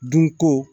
Dunko